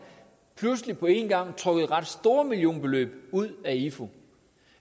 pludselig på en gang trukket ret store millionbeløb ud af ifu